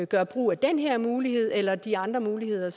gøre brug af den her mulighed eller de andre muligheder